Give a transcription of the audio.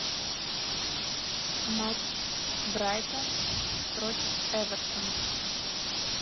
матч брайтон против эвертон